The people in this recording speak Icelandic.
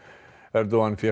Erdogan fékk